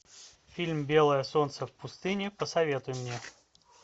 фильм белое солнце пустыни посоветуй мне